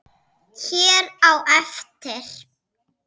hér á eftir.